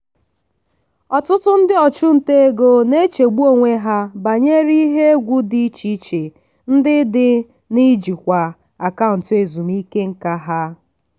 ọtụtụ ndị ọchụnta ego na-echegbu onwe ha banyere ihe egwu dị iche iche ndị dị n'ịjikwa akaụntụ ezumike nká ha.